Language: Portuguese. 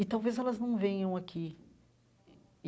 E talvez elas não venham aqui.